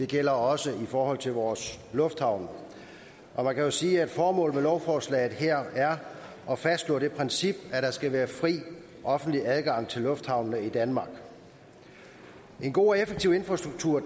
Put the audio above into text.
gælder også i forhold til vores lufthavne og man kan jo sige at formålet med lovforslaget her er at fastslå det princip at der skal være fri offentlig adgang til lufthavnene i danmark en god og effektiv infrastruktur